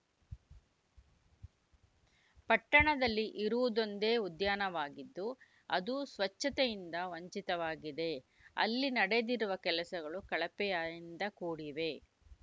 ಪಟ್ಟಣದಲ್ಲಿ ಇರುವುದೊಂದೇ ಉದ್ಯಾನವಾಗಿದ್ದು ಅದೂ ಸ್ವಚ್ಚತೆಯಿಂದ ವಂಚಿತವಾಗಿದೆ ಅಲ್ಲಿ ನಡೆದಿರುವ ಕೆಲಸಗಳು ಕಳಪೆಯಿಂದ ಕೂಡಿವೆ